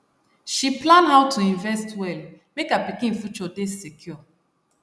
she plan how to invest well make her pikin future dey secure